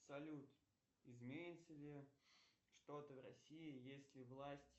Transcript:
салют изменится ли что то в россии если власть